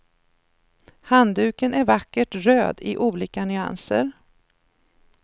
Handduken är vackert röd i olika nyanser.